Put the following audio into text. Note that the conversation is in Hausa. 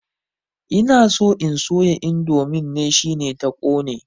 Ina so in soya indomin ne, shine ta ƙone.